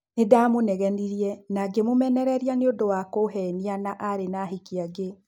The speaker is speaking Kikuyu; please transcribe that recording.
Nindamũnegenirie na ngimumenereria ni ũndũwa kũhenia na ni arĩ na ahiki angi.